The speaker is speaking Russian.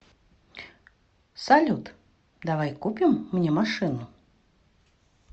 салют давай купим мне машину